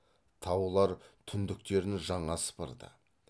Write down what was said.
таулар түндіктерін жаңа сыпырды